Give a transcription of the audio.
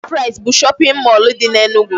Shop rite bụ shopping mall dị n'Enugu.